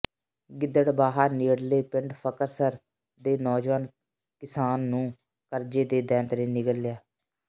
ਗਿੱਦੜਬਾਹਾ ਨੇੜਲੇ ਪਿੰਡ ਫ਼ਕਰਸਰ ਦੇ ਨੌਜਵਾਨ ਕਿਸਾਨ ਨੂੰ ਕਰਜ਼ੇ ਦੇ ਦੈਂਤ ਨੇ ਨਿਗਲ ਲਿਆ